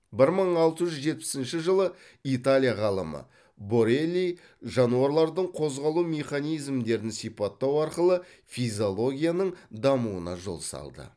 бір мың алты жүз жетпісінші жылы италия ғалымы борелли жануарлардың қозғалу механизмдерін сипаттау арқылы физиологияның дамуына жол салды